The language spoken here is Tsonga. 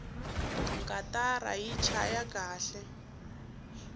katara yi chaya kahle